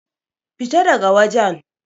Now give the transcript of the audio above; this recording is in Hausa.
Fita da ga wajen!